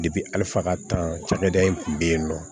ali faga tan ca cakɛda in kun be yen nɔ